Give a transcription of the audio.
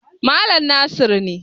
Malam Nasir ne.